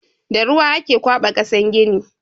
Da ruwa ake kwaba kasan gini.